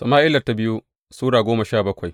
biyu Sama’ila Sura goma sha bakwai